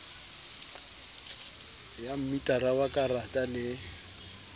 ya metara wa karata le